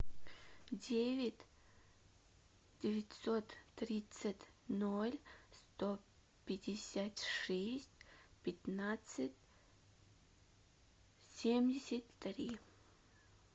девять девятьсот тридцать ноль сто пятьдесят шесть пятнадцать семьдесят три